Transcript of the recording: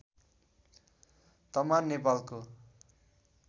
तमान नेपालको